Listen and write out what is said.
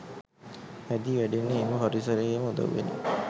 හැදී වැඩෙන්නේ එම පරිසරයේම උදව්වෙනි.